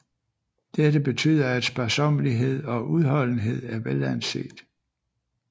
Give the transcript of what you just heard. Dette betyder at sparsommelighed og udholdenhed er velanset